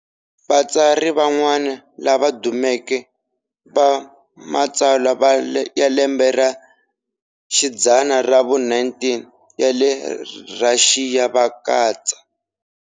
Vatsari van'wana lava dumeke va matsalwa ya lembe xidzana ra vu-19 ya le Rhaxiya va katsa.